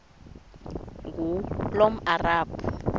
ngulomarabu